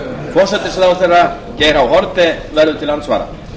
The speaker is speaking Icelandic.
forsætisráðherra geir h haarde verður til andsvara